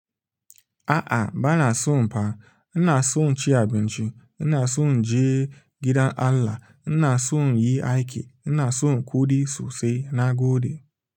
A'a ba na son fa. Ina son ci abinci, ina son je gidan Allah, ina son yi aiki, ina son kuɗi sosai na goɗe.